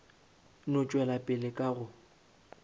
no tšwela pele ka go